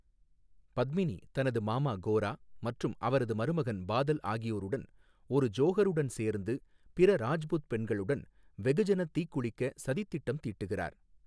பத்மினி தனது மாமா கோரா மற்றும் அவரது மருமகன் பாதல் ஆகியோருடன் ஒரு ஜோஹாருடன் சேர்ந்து, பிற ராஜ்புத் பெண்களுடன் வெகுஜனத் தீக்குளிக்க சதித்திட்டம் தீட்டுகிறார்.